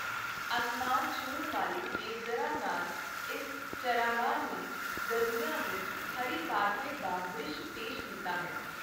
ਅਸਮਾਨ ਛੂਹਣ ਵਾਲੇ ਦੇਵਦਰਾਂ ਨਾਲ ਇਸ ਚਰਾਗਾਹ ਨੇ ਗਰਮੀਆਂ ਵਿੱਚ ਹਰੇ ਕਾਰਪੇਟ ਦਾ ਦ੍ਰਿਸ਼ ਪੇਸ਼ ਕੀਤਾ ਹੈ।